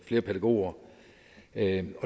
flere pædagoger det